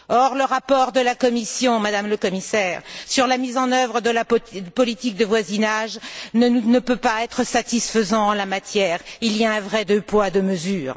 Or, le rapport de la Commission, Madame la Commissaire, sur la mise en œuvre de la politique de voisinage, ne peut pas être satisfaisant en la matière. Il y a un vrai deux poids, deux mesures.